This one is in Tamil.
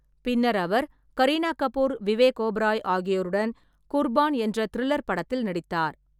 பின்னர் அவர் கரீனா கபூர், விவேக் ஓபராய் ஆகியோருடன் குர்பான் என்ற திரில்லர் படத்தில் நடித்தார்.